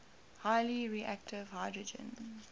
highly reactive hydrogen